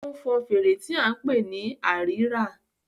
ó ń fọn fèrè tí a ń pè ní Àrírà